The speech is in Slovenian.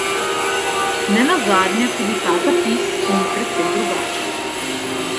Nenazadnje tudi ta zapis ni precej drugačen.